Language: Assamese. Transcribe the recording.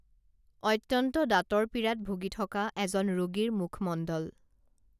অত্যন্ত দাঁতৰ পীড়াত ভুগি থকা এজন ৰোগীৰ মুখমণ্ডল